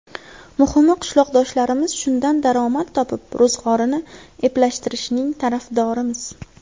Muhimi qishloqdoshlarimiz shundan daromad topib, ro‘zg‘orini eplashtirishining tarafdorimiz.